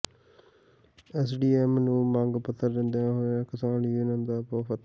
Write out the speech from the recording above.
SDM ਨੂੰ ਮੰਗ ਪੱਤਰ ਦਿੰਦਾ ਹੋਇਆ ਕਿਸਾਨ ਯੂਨੀਅਨ ਦਾ ਵਫ਼ਦ